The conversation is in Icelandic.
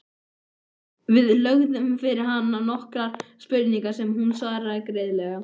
Við lögðum fyrir hana nokkrar spurningar sem hún svaraði greiðlega.